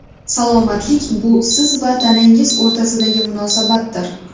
Salomatlik bu siz va tanangiz o‘rtasidagi munosabatdir.